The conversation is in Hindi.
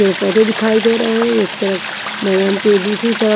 पेड़ पौधे दिखाई दे रहे हैं एक तरफ मैदान की दूसरी तरफ--